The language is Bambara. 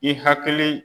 I hakili